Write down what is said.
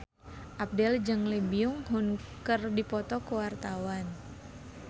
Abdel jeung Lee Byung Hun keur dipoto ku wartawan